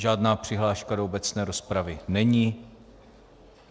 Žádná přihláška do obecné rozpravy není.